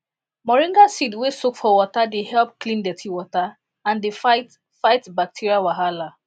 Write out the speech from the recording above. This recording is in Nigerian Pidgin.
moringa seed wey soak for water dey help clean dirty water and dey fight fight bacteria wahala